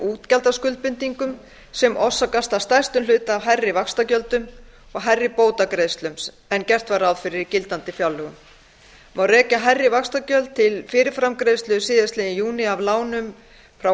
útgjaldaskuldbindingum sem orsakast að stærstum hluta af hærri vaxtagjöldum og hærri bótagreiðslum en gert var ráð fyrir í gildandi fjárlögum má rekja hærri vaxtagjöld til fyrirframgreiðslu síðastliðinn júní af lánum frá